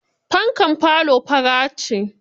Fankar falo fara ce.